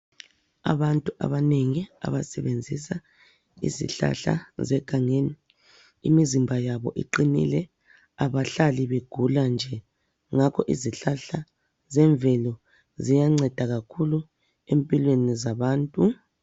Abantu abanengi abasebenzisa izihlahla zegangeni imizimba yabo iqinile abahlali begula nje ngakho izihlahla zemvelo ziyanceda kakhulu empilweni zabantu.